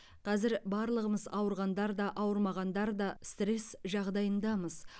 қазір барлығымыз ауырғандар да ауырмағандар да стресс жағдайындамыз